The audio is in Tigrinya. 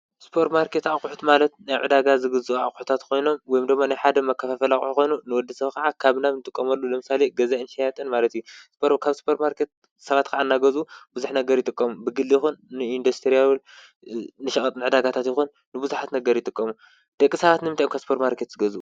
ሱፐርማርኬት ኣቑሑት ማለት ንዕዳጋ ዝግዝኡ ኣቑሑታት ኮይኖም ወይድሞ ናይ ሓደ መከፋፈሊ ኣቑሑ ኮይኑ ንወዲሰብ ከዓ ካብ ናብ እንጥቀመሉ ለምሳሌ ገዛእን ሸያጥን ማለት እዩ። ካብ ሱፐርማርኬት ሰባት ከዓ እናገዝኡ ብዙሕ ነገር ይጥቀሙ። ብግሊ ይኹን ንኢንዲስትሪ ንሸቀጥ ንዕዳጋታት ይኹን ንብዙሓት ነጋዴታት ይጥቀሙ። ደቂ ሰባት ንምንታይ እዮም ካብ ሱፐርማርኬት ዝገዝኡ?